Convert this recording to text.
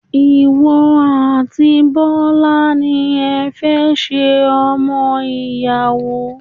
Ìwọ àti Bọ́lá ni ẹ fẹ́ ṣe ọmọ ìyàwó.